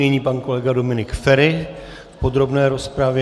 Nyní pan kolega Dominik Feri v podrobné rozpravě.